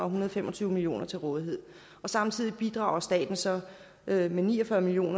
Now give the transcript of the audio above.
hundrede og fem og tyve million kroner til rådighed og samtidig bidrager staten så med med ni og fyrre million